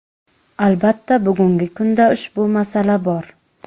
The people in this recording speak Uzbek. Albatta bugungi kunda ushbu masala bor.